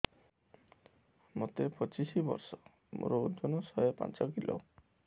ମୋତେ ପଚିଶି ବର୍ଷ ମୋର ଓଜନ ଶହେ ପାଞ୍ଚ କିଲୋ